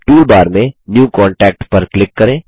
toolbar में new contact पर click करें